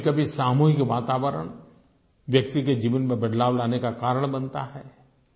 और कभीकभी सामूहिक वातावरण व्यक्ति के जीवन में बदलाव लाने का कारण बनता है